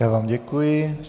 Já vám děkuji.